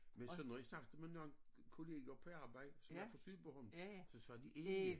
Men så når jeg snakker med nogen kollega på arbejdet som er fra Sydbornholm så siger de ævia